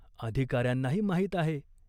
अधिकार्यांनाही माहीत आहे.